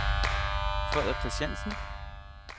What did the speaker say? Frederik Kristiansen